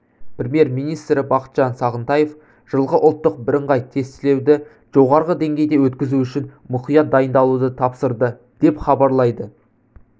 премьер-министрі бақытжан сағынтаев жылғы ұлттық бірыңғай тестілеуді жоғары деңгейде өткізу үшін мұқият дайындалуды тапсырды деп хабарлайды